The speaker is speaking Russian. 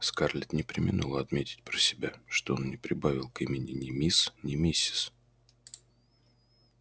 скарлетт не преминула отметить про себя что он не прибавил к имени ни мисс ни миссис